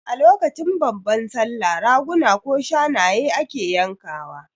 Lokacin babban Sallah Raguna ko Shanaye ake yanka wa